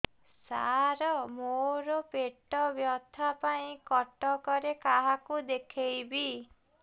ସାର ମୋ ର ପେଟ ବ୍ୟଥା ପାଇଁ କଟକରେ କାହାକୁ ଦେଖେଇବି